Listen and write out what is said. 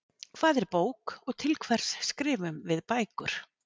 Hvað er bók og til hvers skrifum við bækur?